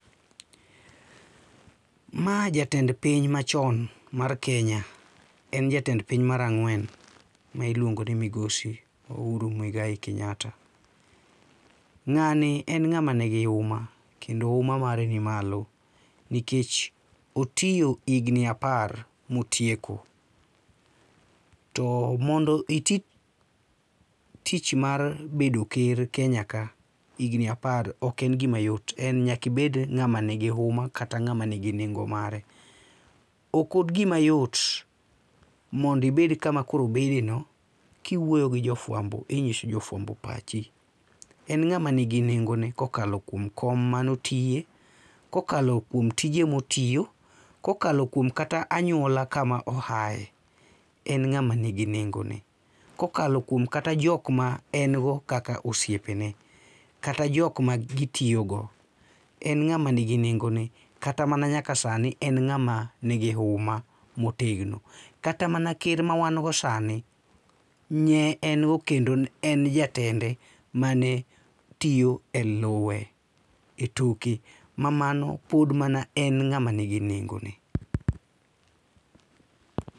Ma jatend piny machon mar Kenya, en jatend piny mar ang'wen ma iluongo ni migosi Uhuru Mwigai Kenyatta. Ng'ani en ng'ama nigi huma kendo huma mare nimalo nikech otiyo higni apar motieko to mondo iti tich mar bedo ker Kenya ka higni apar, ok en gima yot. Nyaka ibed ng'ama nigi huma kata ng'ama nigi nengo mare, ok en gima yot mondo ibed kama koro obedeno kiwuoyo gi jo fuambo kinyiso jofuambo pachi. En ng'ama nigi nengone kokalo kuom kom mane otiye, kokalo kuom tije motiyo, kokalo kuom kata anyuola kama oaye, en ng'ama nigi nengone. Kokalo kuom kata jok ma en go kaka osiepene, kata jok ma gitiyo go, en ng'ama ni gi nengone. To kata mana nyaka sani en ng'ama nigi huma motegno. Kata mana ker ma wan go sani, ne en go kendo ne en jatende manetiyo eluwe etoke mamano pod en mana ng'ama nigi nengone.